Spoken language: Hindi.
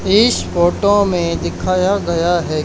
इस फोटो में दिखाया गया है।